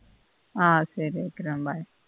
ஆஹ் சரி வெக்கிறன் bye